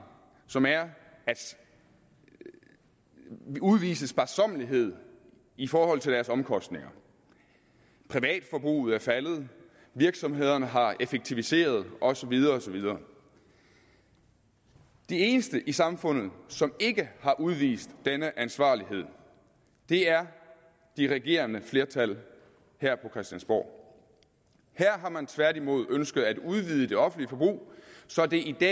som er at udvise sparsommelighed i forhold til deres omkostninger privatforbruget er faldet virksomhederne har effektiviseret og så videre og så videre de eneste i samfundet som ikke har udvist denne ansvarlighed er de regerende flertal her på christiansborg her har man tværtimod ønsket at udvide det offentlige forbrug så det i